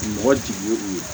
Mɔgɔ jigi ye u ye